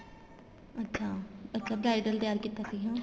ਅੱਛਾ ਅੱਛਾ bridal ਤਿਆਰ ਕੀਤਾ ਸੀ